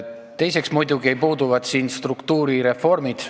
Teiseks: puuduvad struktuurireformid.